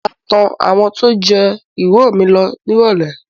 Mo máa tọ àwọn tó jẹ́ ìrọ̀ mi lọ nírọ̀lẹ́